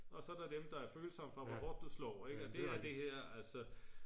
og så er der dem der er følsomme for hvor hårdt du slår